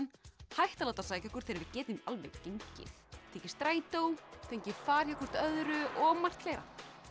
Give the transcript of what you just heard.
hætta að láta sækja okkur þegar við getum alveg gengið tekið strætó fengið far hjá hvert öðru og margt fleira